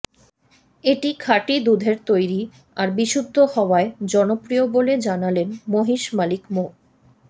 এটি খাটি দুধের তৈরি আর বিশুদ্ধ হওয়ায় জনপ্রিয় বলে জানালেন মহিষ মালিক মো